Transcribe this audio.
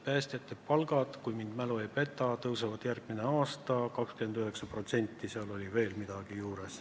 Päästjate palgad, kui mu mälu mind ei peta, tõusevad järgmine aasta 29% ja seal oli veel midagi juures.